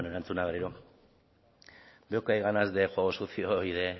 bueno erantzuna berriro veo que hay ganas de juego sucio y de